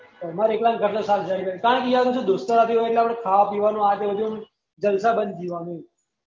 અમારા એકલા ને ઘર ના સાસ ઘરી ઘરી કારણ કે દોસ્તો સાથે હોય તો ખાના પીવાનું આ તે બધું જલસા પણ જીવાનું